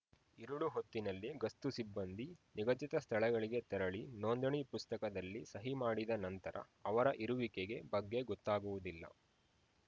ಇರುಳು ಹೊತ್ತಿನಲ್ಲಿ ಗಸ್ತು ಸಿಬ್ಬಂದಿ ನಿಗದಿತ ಸ್ಥಳಗಳಿಗೆ ತೆರಳಿ ನೋಂದಣಿ ಪುಸ್ತಕದಲ್ಲಿ ಸಹಿ ಮಾಡಿದ ನಂತರ ಅವರ ಇರುವಿಕೆಗೆ ಬಗ್ಗೆ ಗೊತ್ತಾಗುವುದಿಲ್ಲ